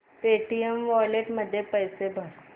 Paytm wallet मध्ये पैसे भर